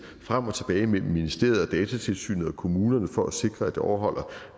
frem og tilbage mellem ministeriet og datatilsynet og kommunerne for at sikre at det overholder